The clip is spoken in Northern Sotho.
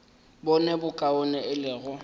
bone bokaone e le go